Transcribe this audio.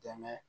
Dɛmɛ